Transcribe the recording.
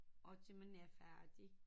Og til man er færdig